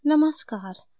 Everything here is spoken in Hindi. नमस्कार !